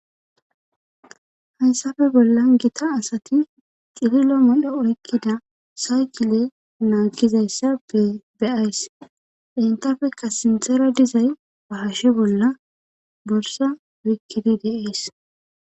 hayssafe bollan gita asati xirilo mol7e orkkida saykile naankizayssa pebeyayss dintafekka sinxera dizay bahashe bolla borsa oykkidi deees